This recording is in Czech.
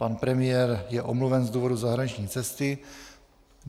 Pan premiér je omluven z důvodu zahraniční cesty.